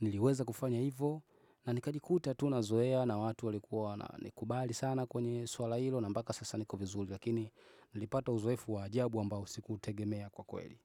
Niliweza kufanya hivo, na nikajikuta tu nazoea na watu walikuwa wana nikubali sana kwenye swala hilo na mpaka sasa niko vizuri, lakini nilipata uzoefu wa ajabu ambao siku utegemea kwa kweli.